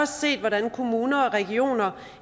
set hvordan kommuner og regioner